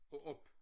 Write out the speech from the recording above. Og op